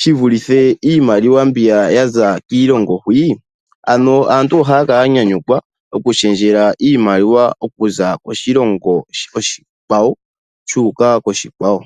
shi vulithe mbi ya za kiilongo hwii. Ano aantu ohaya kala ya nyanyukwa okushendjela iimaliwa okuza koshilongo oshikwawo wuuka koshilongo oshikwawo.